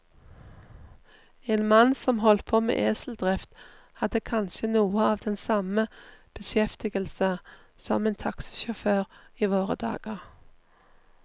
En mann som holdt på med eseldrift, hadde kanskje noe av den samme beskjeftigelse som en taxisjåfør i våre dager.